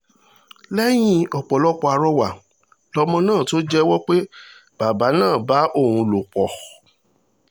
lẹ́yìn ọ̀pọ̀lọpọ̀ àrọwà lọmọ náà tó jẹ́wọ́ pé bàbá náà máa ń bá òun lò pọ̀